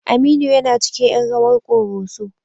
Aminu yana cikin ƴan rawar ƙoroso.